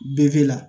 Be la